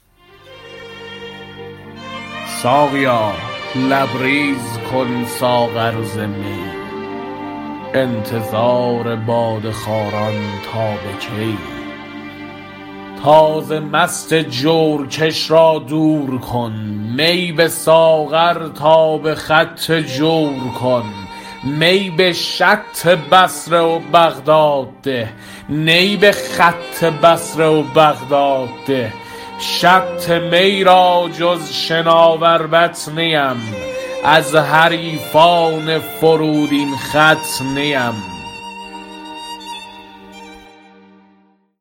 در بیان اینکه هر رازی را پرده داری انبازاست و هر سری را غیرتی غیر پرداز از آنجاست که گوید مدعی خواست که آید به تماشاگه راز دست غیب آمد و بر سینۀ نامحرم زد حافظ و در استشفاء عارف به اکتاب معارف به لسان اهل ذوق گوید ساقیا لبریز کن ساغر ز می انتظار باده خواران تا به کی تازه مست جورکش را دور کن می به ساغر تا به خط جور کن می به شط بصره و بغداد ده نی به خط بصره و بغداد ده شط می را جز شناور بط نیم از حریفان فرودین خط نیم